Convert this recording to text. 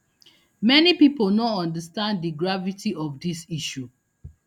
many pipo no understand di gravity of dis issue